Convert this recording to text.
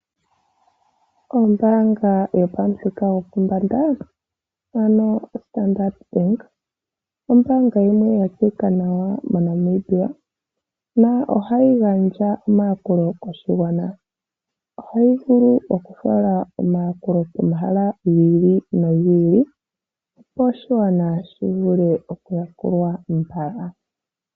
Ombaanga yopamuthika gopombanda ano yoStandard bank. Ombaanga yimwe yatseyika nawa moNamibia yo ohayi gandja omayakulo koshigwana. Ohayi vulu oku fala omayakulo pomahala gi ili no giili opo oshigwana shi vule okuyakulwa mbala.